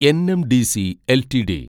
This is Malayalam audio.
NMDC LTD